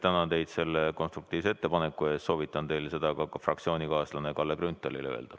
Tänan teid selle konstruktiivse ettepaneku eest ja soovitan teil seda ka fraktsioonikaaslasele Kalle Grünthalile öelda.